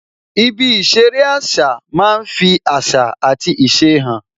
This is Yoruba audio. Ibi ìṣeré àṣà máa ń fi àṣà àti ìṣe hàn